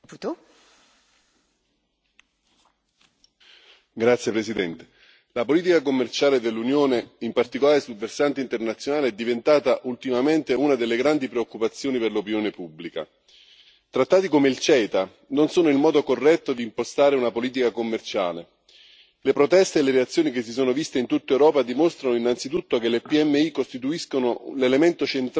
Signora Presidente, onorevoli colleghi, la politica commerciale dell'Unione, in particolare sul versante internazionale, è diventata ultimamente una delle grandi preoccupazioni per l'opinione pubblica. Trattati come il CETA non sono il modo corretto di impostare una politica commerciale. Le proteste e le reazioni che si sono viste in tutta Europa dimostrano innanzitutto che le PMI costituiscono l'elemento centrale della catena globale del valore